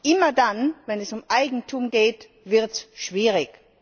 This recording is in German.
Immer dann, wenn es um Eigentum geht, wird es schwierig.